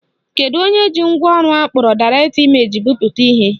Kedu onye ji ngwaọrụ akpọrọ Direct Image bipụta ihe?